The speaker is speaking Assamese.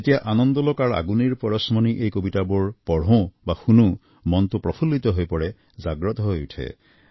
যেতিয়া আনন্দলোক আৰু আগুনেৰ পৰশমণি এই কবিতাবোৰ পঢ়ো বা শুনো মনটো প্ৰফুল্লিত হৈ পৰে জাগ্ৰত হৈ উঠে